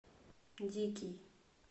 дикий